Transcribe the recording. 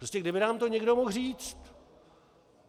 Prostě kdyby nám to někdo mohl říct.